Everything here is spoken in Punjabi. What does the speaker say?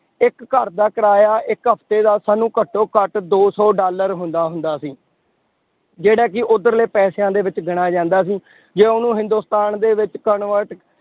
ਇੱਕ ਘਰਦਾ ਕਿਰਾਇਆ ਇੱਕ ਹਫ਼ਤੇ ਦਾ ਸਾਨੂੰ ਘੱਟੋ ਘੱਟ ਦੋ ਸੌ ਡਾਲਰ ਹੁੰਦਾ ਹੁੰਦਾ ਸੀ ਜਿਹੜਾ ਕਿ ਉੱਧਰਲੇ ਪੈਸਿਆਂ ਦੇ ਵਿੱਚ ਗਿਣਿਆ ਜਾਂਦਾ ਸੀ, ਜੇ ਉਹਨੂੰ ਹਿੰਦੁਸਤਾਨ ਦੇ ਵਿੱਚ convert